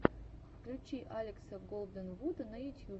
включи алекса голденвуда на ютьюбе